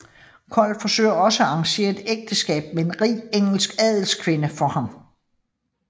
Kold forsøger også at arrangere et ægteskab med en rig engelsk adelskvinde for ham